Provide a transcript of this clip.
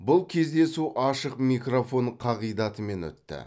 бұл кездесу ашық микрофон қағидатымен өтті